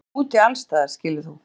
Við erum úti allsstaðar skilur þú?